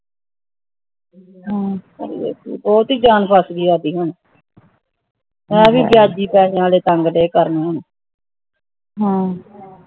ਬਹੁਤ ਹੀ ਜਾਣ ਫਸਗੀ ਸਾੜੀ ਹੁਣ ਐਵੇਂ ਹੀ ਬਯਾਜੀ ਪੈਣ ਵਾਲੇ ਤੰਗ ਰੇ ਕਰ ਹੁਣ